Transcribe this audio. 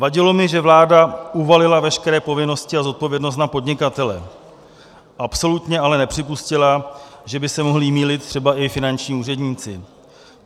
Vadilo mi, že vláda uvalila veškeré povinnosti a zodpovědnost na podnikatele, absolutně ale nepřipustila, že by se mohli mýlit třeba i finanční úředníci.